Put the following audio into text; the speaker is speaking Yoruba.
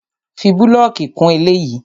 Fi búlọ̀kì kún eléyìí!